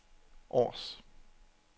Aars